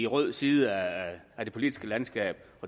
rød side af det politiske landskab